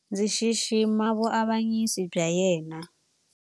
Ndzi xixima vuavanyisi bya yena.